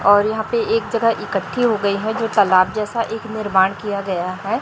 और यहां पे एक जगह इकट्ठी हो गई है जो तालाब जैसा एक निर्माण किया गया है।